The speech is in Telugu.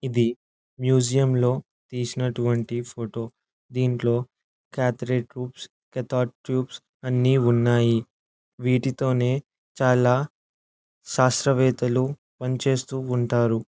ఇది మ్యూజియం లో తీసినటువంటి ఫోటో . దింట్లో క్యాటరేడ్ ట్యూబ్స్ కేతర్డ్ ట్యూబ్స్ అన్ని ఉన్నాయి. వీటితోనే చాలా శాస్త్రవేత్తలు పని చేస్తూ ఉంటారు.